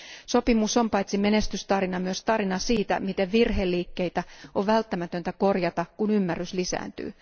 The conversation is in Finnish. Sopimus on paitsi menestystarina, myös tarina siitä, miten virheliikkeitä on välttämätöntä korjata, kun ymmärrys lisääntyy.